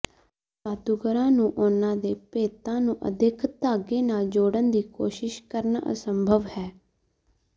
ਜਾਦੂਗਰਾਂ ਨੂੰ ਉਨ੍ਹਾਂ ਦੇ ਭੇਤਾਂ ਨੂੰ ਅਦਿੱਖ ਧਾਗੇ ਨਾਲ ਜੋੜਨ ਦੀ ਕੋਸ਼ਿਸ਼ ਕਰਨਾ ਅਸੰਭਵ ਹੈ